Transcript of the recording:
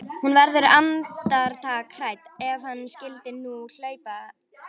Hún verður andartak hrædd: Ef hann skyldi nú hlaupa.